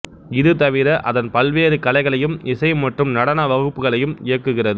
இது தவிர அதன் பல்வேறு கலைகளையும் இசை மற்றும் நடன வகுப்புகளையும் இயக்குகிறது